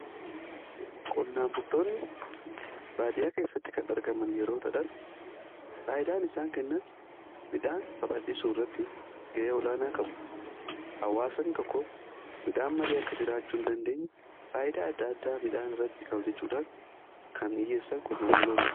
qonnaan bultoonni baadiyaa keessatti kan argaman yeroo ta'an faayidaan isaan kennan midhaan babaldhisu irratti ga'ee olaanaa qabu. hawwaasan tokko midhaan malee akka jiraachuu hin dandeenye faayidaa adda addaa midhaan irratti ka'u jechuudhaan kan iyyeessan qonnaan buloota.